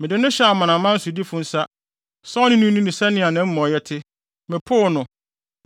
mede no hyɛɛ amanaman sodifo nsa, sɛ ɔne no nni no sɛnea nʼamumɔyɛ te. Mepoo no,